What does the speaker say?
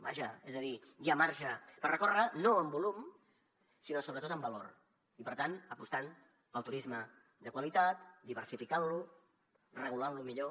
vaja és a dir hi ha marge per recórrer no en volum sinó sobretot en valor i per tant apostant pel turisme de qualitat diversificant lo regulant lo millor